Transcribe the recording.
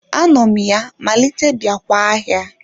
Anom ya malite biakwa ahia